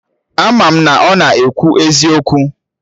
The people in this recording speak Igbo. Ama m na ọ na ekwu eziokwu